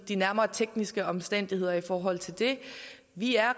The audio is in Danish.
de nærmere tekniske omstændigheder betyder i forhold til det vi er